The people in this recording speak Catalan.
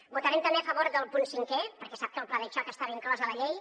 votarem també a favor del punt cinquè perquè sap que el pla de xoc estava inclòs a la llei